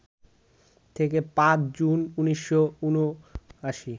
থেকে ৫ জুন ১৯৭৯